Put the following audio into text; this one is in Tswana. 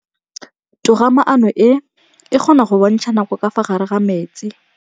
Toga-maanô e, e kgona go bontsha nakô ka fa gare ga metsi.